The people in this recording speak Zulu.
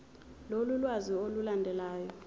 lolu lwazi olulandelayo